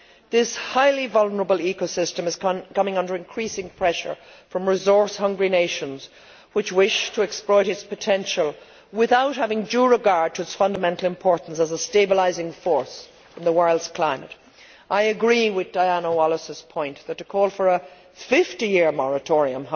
This highly vulnerable ecosystem is coming under increasing pressure from resource hungry nations which wish to exploit its potential without having due regard to its fundamental importance as a stabilising force in the world's climate. I agree with Mrs Wallis's point that a call for a 50 year moratorium